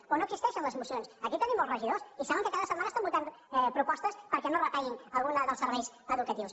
o no existeixen les mocions aquí tenim molts regidors i saben que cada setmana estan votant propostes perquè no es retallin alguns dels serveis educatius